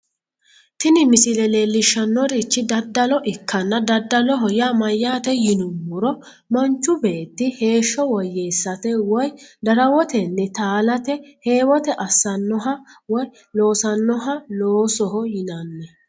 tini misile leellishshannorichi daddalo ikkanna daddaloho yaa mayyaate yinummoro manchu beetti heeshsho woyyeessate woy darawotenni taalate heewote assannoha woy loosannoha loosoho yinanni